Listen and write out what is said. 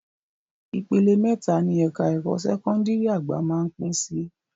Ìpele mẹ́ta ni ẹ̀ka ẹ̀kọ́ sẹ́kọ́ndìrì àgbà máá ń pín sí